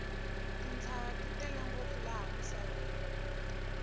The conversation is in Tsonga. tintshava ti tele ngopfu laha misaveni